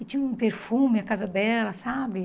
E tinha um perfume a casa dela, sabe?